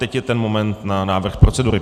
Teď je ten moment na návrh procedury.